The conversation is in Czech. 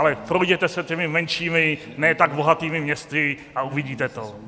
Ale projděte se těmi menšími, ne tak bohatými městy a uvidíte to.